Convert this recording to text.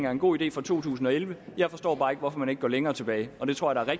er en god idé for to tusind og elleve jeg forstår bare ikke hvorfor man ikke går længere tilbage og det tror jeg